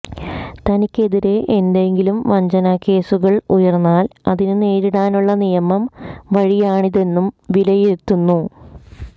തനിക്കെതിരെ എന്തെങ്കിലും വഞ്ചനാ കേസുകൾ ഉയർന്നാൽ അതിന് നേരിടാനുള്ള നിയമ വഴിയാണിതെന്നും വിലയിരുത്തുന്നു